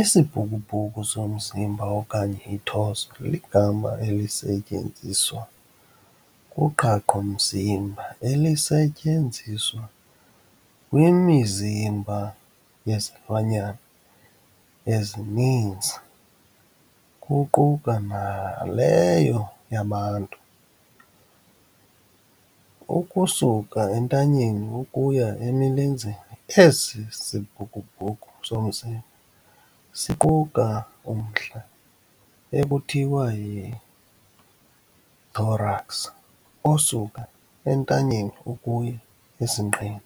Isibhukubhuku somzimba okanye i-torso ligama elisetyenziswa kuqhaqho mzimba elisetyenziswa kwimizimba yezilwanyana ezininzi kuquka naleyo yabantu. Ukusuka entanyeni ukuya emilenzeni esi sibhukubhuku somzimba siquka umntla ekuthiwa yi-thorax osuka entanyeni ukuya esinqeni